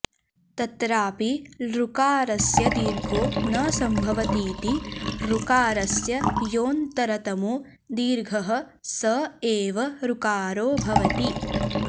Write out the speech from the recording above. तत्रापि लृकारस्य दीर्घो न सम्भवतीति ऋकारस्य योऽन्तरतमो दीर्घः स एव ऋकारो भवति